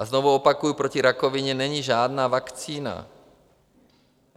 A znovu opakuji, proti rakovině není žádná vakcína.